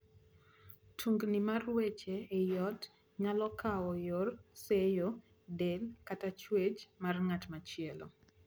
Tungni mar wech ei joot nyalo kawo yor seyo del kata chwech mar ng’at machielo